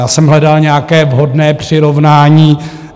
Já jsem hledal nějaké vhodné přirovnání.